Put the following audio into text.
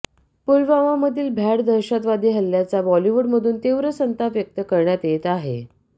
पुलवामामधील भ्याड दहशतवादी हल्ल्याचा बॉलिवूडमधून तीव्र संताप व्यक्त करण्यात येत आहे